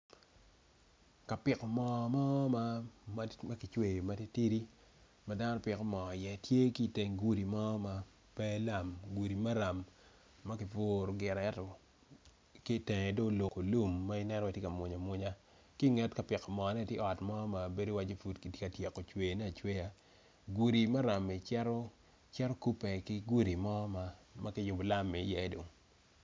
Kapiko mo mor ma makicweyo matitidi madano piko mo i ye tye ki teng gudi mo ma pe lam gudi maram maki puto gire ento kitenge do oluko lum ma ineno ni tye ka buny abunya ki nget kapiko mo ni tye ot mo bedo wacci pud kitye ka cweyone acweya gudi marammi cito kupe ki gudi mo makiyubo lam i ye do.